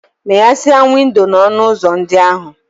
Meghesịa windo na ọnụ ụzọ ndị ahụ!